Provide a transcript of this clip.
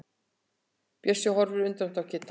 Bjössi horfir undrandi á Kidda.